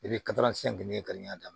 I bɛ daminɛ